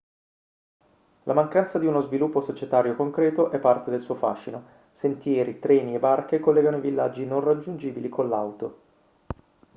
la mancanza di uno sviluppo societario concreto è parte del suo fascino sentieri treni e barche collegano i villaggi non raggiungibili con l'auto